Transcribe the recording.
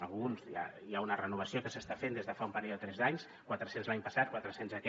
alguns hi ha una renovació que s’està fent des de fa un parell o tres d’anys quatre cents l’any passat quatre cents aquest